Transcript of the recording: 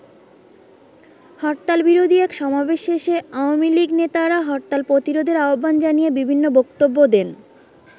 হরতাল বিরোধী এক সমাবেশ শেষে আওয়ামী লীগ নেতারা হরতাল প্রতিরোধের আহ্বান জানিয়ে বিভিন্ন বক্তব্য দেন।